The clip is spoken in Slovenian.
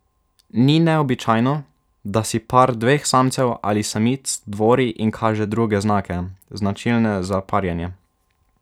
Ni neobičajno, da si par dveh samcev ali samic dvori in kaže druge znake, značilne za parjenje.